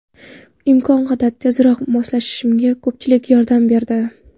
Imkon qadar tezroq moslashishimga ko‘pchilik yordam berdi.